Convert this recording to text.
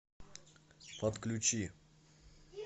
подключи